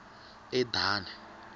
edani